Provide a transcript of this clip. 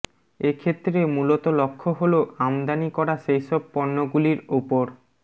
এক্ষেত্রে মূলত লক্ষ্য হল আমদানি করা সেইসব পণ্য গুলির উপর